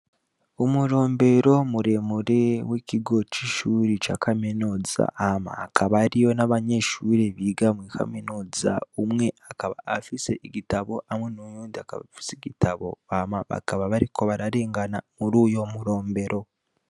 Umurombero muremure w'ikigo c'ishuri ca kaminuza hama hakaba hariyo n'abanyeshure biga muri kaminuza umwe akaba afise igitabo kimwe n'uyundi akaba afise igitabo hama bakaba bariko bararengana muri uyo murombero.